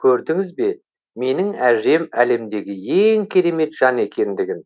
көрдіңіз бе менің әжем әлемдегі ең керемет жан екендігін